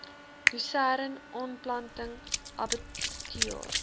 lusern aanplanting abbatior